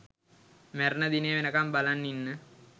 මැරෙන දිනේ වෙනකම් බලන් ඉන්න